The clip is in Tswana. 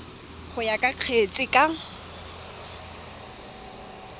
go ya ka kgetse ka